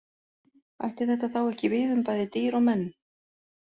Ætti þetta þá ekki við um bæði dýr og menn?